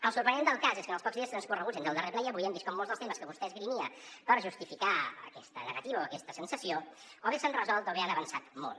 el sorprenent del cas és que en els pocs dies transcorreguts entre el darrer ple i avui hem vist com molts dels temes que vostè esgrimia per justificar aquesta negati·va o aquesta sensació o bé s’han resolt o bé han avançat molt